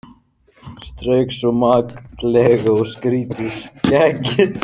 Strauk svo makindalega um strítt skeggið.